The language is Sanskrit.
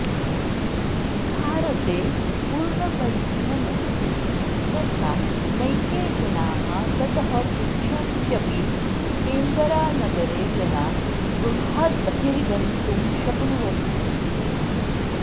भारते पूर्णबन्धनमस्ति तथा नैके जनाः ततः पृच्छन्त्यपि केन्बरा नगरे जना गृहाद्बहिर्गन्तुं शक्नुवन्ति इति